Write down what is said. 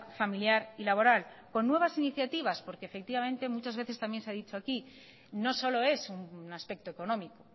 familiar y laboral con nuevas iniciativas porque efectivamente muchas veces también se ha dicho aquí no solo es un aspecto económico